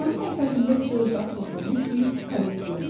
Dumanın ortasında dörd at qoşulmuş bir karet göründü.